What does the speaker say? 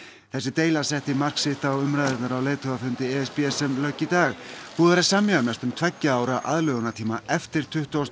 þessi deila setti mark sitt á umræðurnar á leiðtogafundi e s b sem lauk í dag búið er að semja um næstum tveggja ára aðlögunartíma eftir tuttugasta og